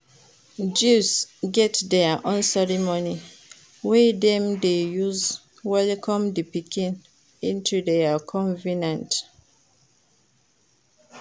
Jews get their own ceremony wey dem de use welcome di pikin into their convenant